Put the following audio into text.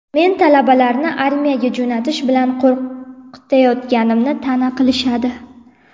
Men talabalarni armiyaga jo‘natish bilan qo‘rqitayotganimni ta’na qilishadi.